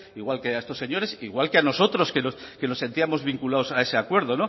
igual que a estos señores igual que a nosotros que nos sentíamos vinculados a ese acuerdo